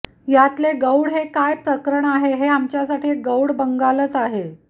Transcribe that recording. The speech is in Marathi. यातले गौड हे काय प्रकरण आहे हे आमच्यासाठी एक गौडबंगालच आहे